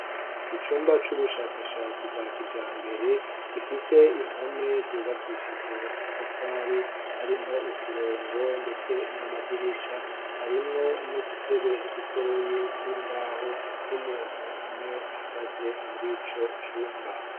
icumba c'ubushakashatsi bwa kijambere gifise impome zubakishije amatafari harimwo uturongo ndetse n'amadirisha harimwo nudutebe dutoye tw'imbaho n'umuntu umwe ahagaze murico cumba